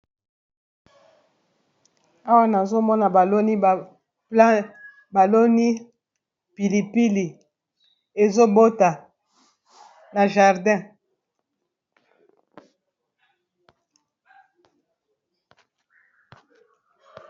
Awa nazomona baloni pilipili ezobota na jardin.